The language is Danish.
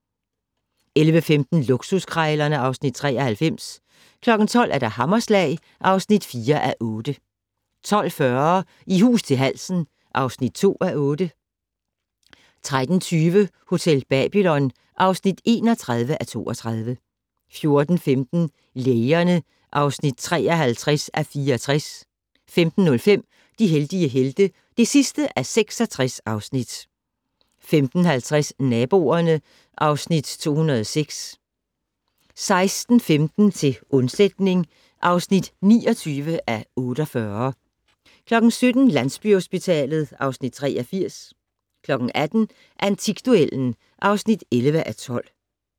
11:15: Luksuskrejlerne (Afs. 93) 12:00: Hammerslag (4:8) 12:40: I hus til halsen (2:8) 13:20: Hotel Babylon (31:32) 14:15: Lægerne (53:64) 15:05: De heldige helte (66:66) 15:50: Naboerne (Afs. 206) 16:15: Til undsætning (29:48) 17:00: Landsbyhospitalet (Afs. 83) 18:00: Antikduellen (11:12)